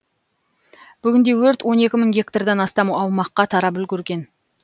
бүгінде өрт он екі мың гектардан астам аумаққа тарап үлгерген